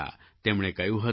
તેમણે કહ્યું હતું